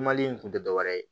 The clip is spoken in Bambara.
Mali in kun te dɔwɛrɛ ye